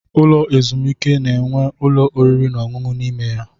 Ụlọ ezumike na-enwe ụlọ oriri na ọṅụṅụ n'ime ya.